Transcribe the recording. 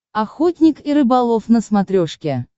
охотник и рыболов на смотрешке